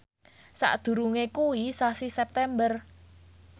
sakdurunge kuwi sasi September